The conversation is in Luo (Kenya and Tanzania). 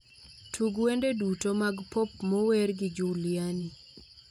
Tug wende duto mag pop mower gi juliani